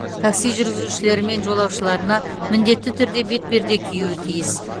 такси жүргізушілері мен жолаушыларына міндетті түрде бетперде киюі тиіс